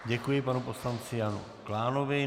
Děkuji panu poslanci Janu Klánovi.